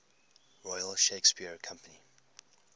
royal shakespeare company